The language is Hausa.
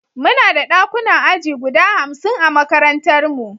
Muna da ɗakunan aji guda hamsin a makarantarmu.